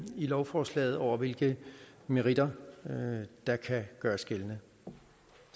lovforslaget over hvilke meritter der kan gøres gældende